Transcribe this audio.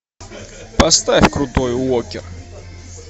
поставь крутой уокер